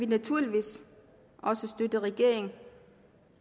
naturligvis også støtte regeringen